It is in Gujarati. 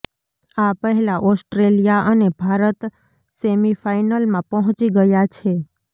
આ પહેલા ઓસ્ટ્રેલિયા અને ભારત સેમિફાઇનલમાં પહોંચી ગયા છે